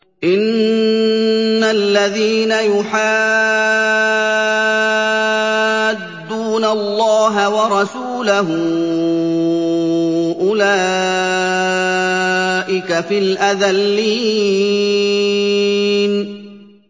إِنَّ الَّذِينَ يُحَادُّونَ اللَّهَ وَرَسُولَهُ أُولَٰئِكَ فِي الْأَذَلِّينَ